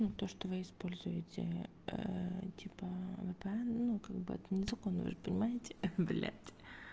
то что вы используете типа ну как бы это незаконно вы же понимаете блядь